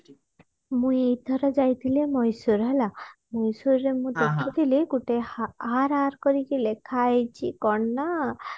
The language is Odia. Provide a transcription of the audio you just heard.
ମୁଁ ଏଇଥର ଯାଇଥିଲି ମହୀଶୂର ହେଲା ମହୀଶୂର ରେ ମୁଁ ଦେଖିଥିଲି ଗୋଟେ ହା RR କରିକି ଲେଖା ହେଇଛି କଣ ନା